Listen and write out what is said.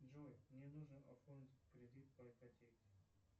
джой мне нужно оформить кредит по ипотеке